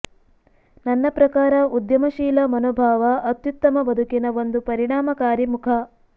ನನ್ನ ಪ್ರಕಾರ ಉದ್ಯಮಶೀಲ ಮನೋಭಾವ ಅತ್ಯುತ್ತಮ ಬದುಕಿನ ಒಂದು ಪರಿಣಾಮಕಾರಿ ಮುಖ